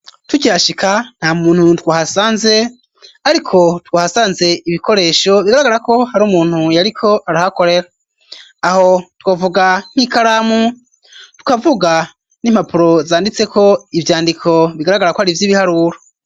Tukihashika nta muntu twahasanze ariko twahasanze ibikoresho bigaragarako hari umuntu yariko arahakorera, aho twavuga nk'ikaramu tukavuga n'impapuro zanditseko ivyandiko bigaragara ko hari ivy'ibiharuru.